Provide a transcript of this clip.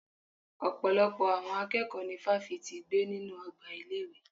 Ọ̀pọ̀lọpọ̀ àwọn akẹ́kọ̀ọ́ ní fáfitì gbé nínú ọgbà ilé ìwé.